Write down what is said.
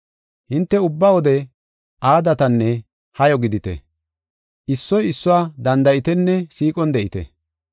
Hinte ubba wode aadatanne hayo gidite; issoy issuwa danda7itenne siiqon de7ite.